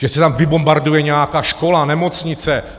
Že se tam vybombarduje nějaká škola, nemocnice?